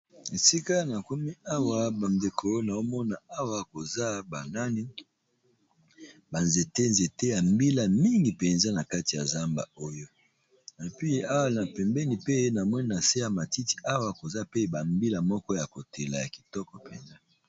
Esika na komi awa bandekonaomona awa koza banani banzete nzete ya mbila mingi mpenza na kati ya zamba oyo napi awa na pembeni pe namoni na se ya matiti awa koza pe bambila moko ya kotela ya kitoko mpenza.